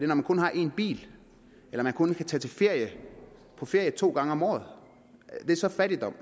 man kun har en bil og når man kun kan tage på ferie to gange om året er det så fattigdom